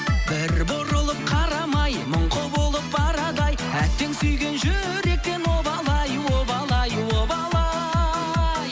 бір бұрылып қарамай мұңқы болып барады ай әттең сүйген жүректен обал ай обал ай обал ай